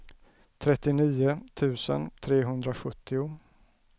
trettionio tusen trehundrasjuttio